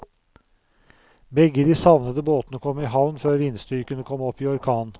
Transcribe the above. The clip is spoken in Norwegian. Begge de savnede båtene kom i havn før vindstyrken kom opp i orkan.